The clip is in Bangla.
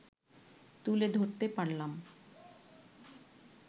তুলে ধরতে পারলাম